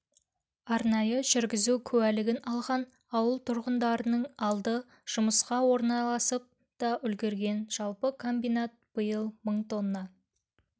арнайы жүргізу куәлігін алған ауыл тұрғындарының алды жұмысқа орналасып та үлгірген жалпы комбинат биыл мың тонна